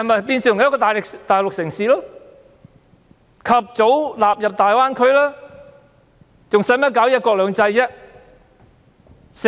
便是變成一個大陸城市，及早納入大灣區，還何須搞"一國兩制"？